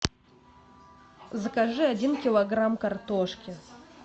закажи один килограмм картошки